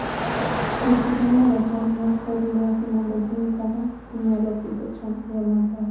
Jopur nonoga chal mar kor lwasi mondo ging'e kaka ginyalo pidho cham e yo maber.